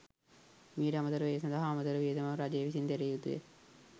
මීට අමතරව ඒ සඳහා අමතර වියදමක් රජය විසින් දැරිය යුතුය.